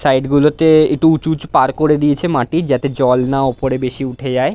side গুলোতে একটু উঁচু উঁচু পাড় করে দিয়েছে মাটির যাতে জল না ওপরে বেশি উঠে যায়--